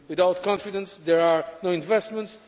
Without confidence there are no investments.